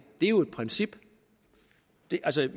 er jo et princip